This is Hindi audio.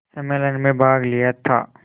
सम्मेलन में भाग लिया था